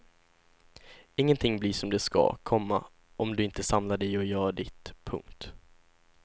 Ingenting blir som det skall, komma om du inte samlar dig och gör ditt. punkt